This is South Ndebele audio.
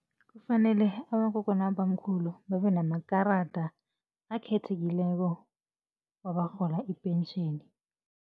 Kufanele abogogo nabobamkhulu babe namakarada akhethekileko abarhola ipentjheni.